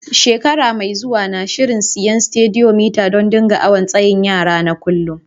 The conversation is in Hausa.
Shekara mai zuwa, n'na shirin siya Stadiyomitar dan n'dinga awon tsayin yara na kullum.